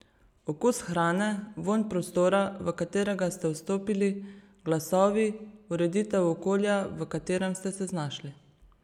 Okus hrane, vonj prostora, v katerega ste vstopili, glasovi, ureditev okolja, v katerem ste se znašli.